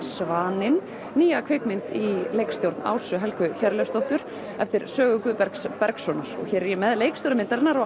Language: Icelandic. Svaninn nýja kvikmynd í leikstjórn Ásu Helgu Hjörleifsdóttur eftir sögu Guðbergs Bergssonar hér er ég með leikstjóra myndarinnar og